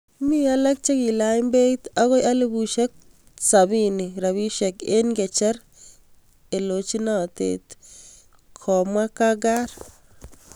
Mi alak chegiilany' peeit agoi 70,000 rupiek eng' kecher eeloojnateet,"kamwaa Kakar